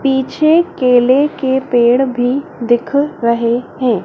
पीछे केले के पेड़ भी दिख रहे हैं।